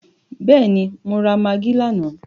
Bẹ́ẹ̀ni, mo rà magí lánàá.